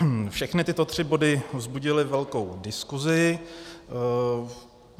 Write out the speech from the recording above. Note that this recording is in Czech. Všechny tyto tři body vzbudily velkou diskuzi.